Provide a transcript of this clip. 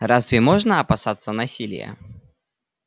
разве можно опасаться насилия